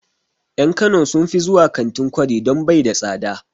En kano sun fi zuwa kantin kwari don bai da tsada